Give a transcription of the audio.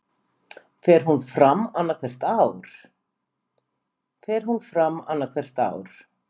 Fer hún fram annað hvert ár